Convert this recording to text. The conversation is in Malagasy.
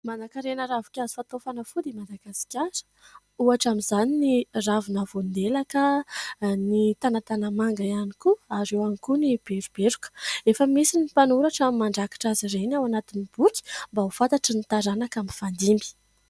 Manan-karena ravin-kazo fatao fanafody i Madagasikara ohatra amin'izany ny ravina voandelaka, ny tanatanamanga ihany koa ary eo ihany koa ny beroberoka. Efa misy ny mpanoratra mandrakitra azy ireny ao anatin'ny boky mba ho fantatry ny taranaka mifandimby.